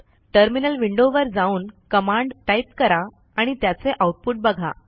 terminal window वर जाऊन command type करा आणि त्याचे आऊटपुट बघा